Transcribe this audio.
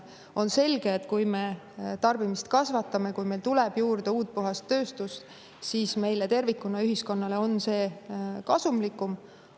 On selge, et kui me tarbimist kasvatame, kui meil tuleb juurde uut ja puhast tööstust, siis meile tervikuna, ühiskonnale on see kasumlikum.